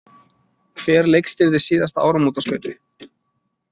Hver leikstýrði síðasta áramótaskaupi?